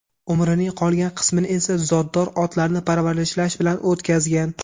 Umrining qolgan qismini esa zotdor otlarni parvarishlash bilan o‘tkazgan.